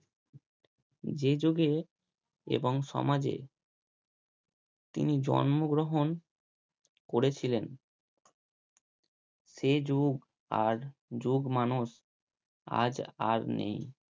যে যুগে এবং সমাজে তিনি জন্মগ্রহণ করেছিলেন সে যুগ আর যুগ মানস আজ আর নেই।